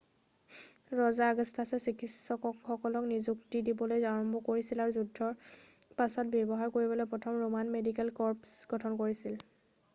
ৰজা আগষ্টাছে চিকিৎসকক নিযুক্তি দিবলৈ আৰম্ভ কৰিছিল আৰু যুদ্ধৰ পাছত ব্যৱহাৰ কৰিবলৈ প্ৰথম ৰোমান মেডিকেল কৰ্পছ গঠন কৰিছিল